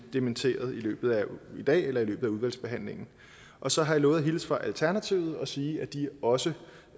dementeret i løbet af dagen eller i løbet af udvalgsbehandlingen og så har jeg lovet at hilse fra alternativet og sige at de også